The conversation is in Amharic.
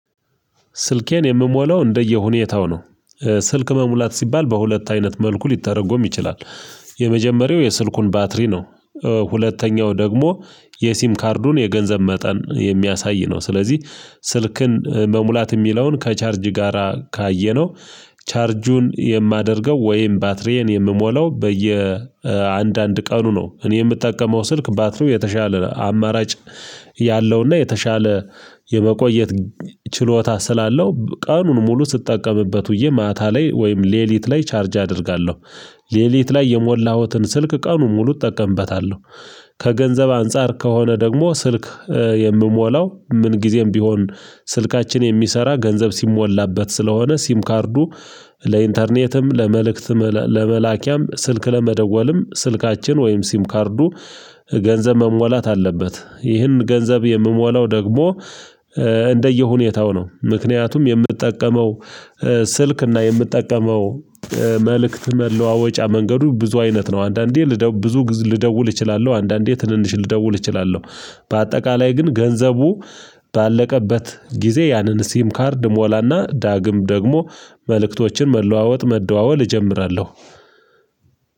ስልኬን የምሞላው እንደየሁኔታው ነው። ስልክ መሙላት ሲባል በሁለት አይነት መልኩ ሊተረጎም ይችላል። የመጀመሪያው የስልኩን ባትሪ ነው። ሁለተኛው ደግሞ የሲም ካርዱን የገንዘብ መጠን የሚያሳይ ነው። ስለዚህ ስልክን መሙላት የሚለውን ከቻርጅ ጋራ ካየነው ቻርጁን የማደርገው ወይም ባትሪዬን የምሞላው በየአንዳንድ ቀኑ ነው እኔ የምጠቀመው ስልክ ባትሪው የተሻለ አማራጭ ያለውና የተሻለ የመቆየት ችሎታ ስላለው ቀኑን ሙሉ ስትጠቀምበት ውዬ ማታ ላይ ወይም ሌሊት ላይ ቻርጅ አደርጋለሁ። ሌሊት ላይ የሞላሁትን ስልክ ቀኑን ሙሉ እጠቀምበታለሁ። ከገንዘብ አንፃር ከሆነ ደግሞ ስልክ የምሞላው ምን ጊዜም ቢሆን ስልካችን የሚሰራ ገንዘብ ሲሞላበት ስለሆነ ሲም ካርዱ ለኢንተርኔትም ለመልእክትም ለመላኪያም ስልክ ለመደወልም ስልካችን ወይም ሲም ካርዱ ገንዘብ መሟላት አለበት። ይህን ገንዘብ የምሞላው ደግሞ እንደየሁኔታው ነው። ምክንያቱም የምጠቀመው ስልክና የምጠቀመው መልእክት መለዋወጫ መንገዱ ብዙ አይነት ነው። አንዳንዴ ብዙ ልደውል እችላለሁ አንዳንዴ ትንንሽ ልደውል እችላለሁ። በአጠቃላይ ግን ገንዘቡ ባለቀበት ጊዜ ያንን ሲም ካርድ እሞላና ዳግም ደግሞ መልእክቶችን መለዋወጥ መደዋወል እጀምራለሁ።